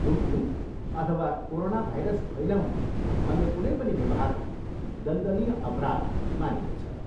थुक्नु अथवा कोरोनाभाइरस फैलाउने अन्य कुनै पनि व्यवहारलाई दण्डनीय अपराध मानिनेछ।